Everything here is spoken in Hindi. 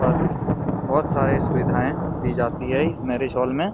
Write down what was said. और बहुत सारे सुविधाएं दी जाती है इस मैरिज हॉल मे। ।